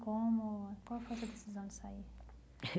Como qual foi a sua decisão de sair?